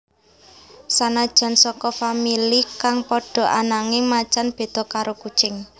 Sanajan saka famili kang padha ananging macan béda karo kucing